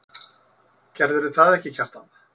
Gerðirðu það ekki, Kjartan?